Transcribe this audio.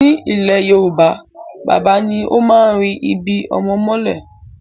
Ní ilẹ̀ Yorùbá, bàbá ni ó máa ń ri ibi-ọmọ mọ́lẹ̀.